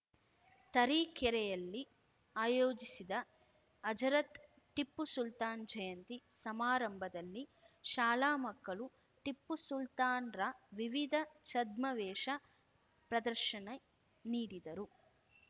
ತರೀಕೆರೆಯಲ್ಲಿ ಆಯೋಜಿಸಿದ್ದ ಹಜರತ್‌ ಟಿಪ್ಪು ಸುಲ್ತಾನ್‌ ಜಯಂತಿ ಸಮಾರಂಭದಲ್ಲಿ ಶಾಲಾ ಮಕ್ಕಳು ಟಿಪ್ಪು ಸುಲ್ತಾನ್‌ರ ವಿವಿಧ ಛದ್ಮವೇಶ ಪ್ರದರ್ಶನ ನೀಡಿದರು